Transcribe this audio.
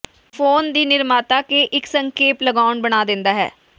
phone ਦੀ ਨਿਰਮਾਤਾ ਕੇ ਇੱਕ ਸੰਖੇਪ ਲਗਾਉਣ ਬਣਾ ਦਿੰਦਾ ਹੈ